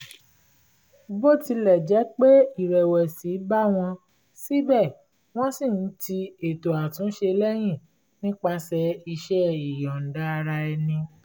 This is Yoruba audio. bó tilẹ̀ jẹ́ pé ìrẹ̀wẹ̀sì bá wọn síbẹ̀ wọ́n ṣì ń ti ètò àtúnṣe lẹ́yìn nípasẹ̀ iṣẹ́ ìyọ̀ǹda ara ẹni